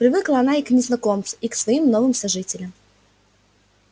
привыкла она и к незнакомцу и к своим новым сожителям